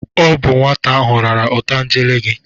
Ọ bụ nwata ahụ rara otangele gị.